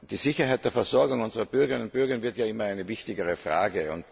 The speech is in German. Die Sicherheit der Versorgung unserer Bürgerinnen und Bürger wird zu einer immer wichtigeren Frage.